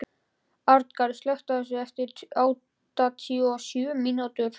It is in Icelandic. Arngarður, slökktu á þessu eftir áttatíu og sjö mínútur.